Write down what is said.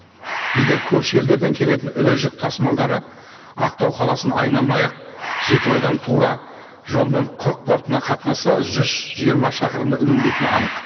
егер көрші елдерден келетін ірі жүк тасымалдары ақтау қаласын айналмай ақ жетібайдан тура жолмен құрық портына қатынаса жүз жиырма шақырымды үнемдейтіні анық